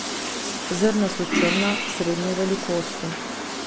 Zrna so črna, srednje velikosti.